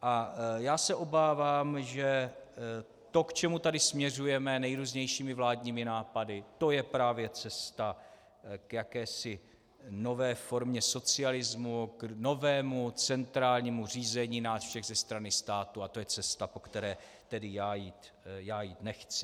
A já se obávám, že to, k čemu tady směřujeme nejrůznějšími vládními nápady, to je právě cesta k jakési nové formě socialismu, k novému centrálnímu řízení nás všech ze strany státu, a to je cesta, po které tedy já jít nechci.